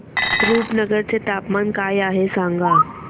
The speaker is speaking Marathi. रुपनगर चे तापमान काय आहे सांगा